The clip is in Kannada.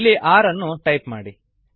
ಇಲ್ಲಿ ಆರ್ ಅನ್ನು ಟೈಪ್ ಮಾಡಿ